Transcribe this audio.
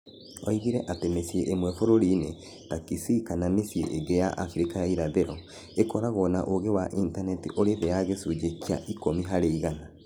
Oigire atĩ mĩciĩ ĩmwe bũrũri-inĩ, ta Kisii kana mĩciĩ ĩngĩ ya Abirika ya Irathĩro, ĩkoragwo na ũingĩ wa intaneti ũrĩ thĩ ya gĩcunjĩ kĩa ikũmi harĩ igana.